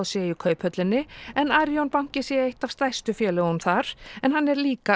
séu í Kauphöllinni en Arion banki sé eitt af stærstu félögum þar en hann er líka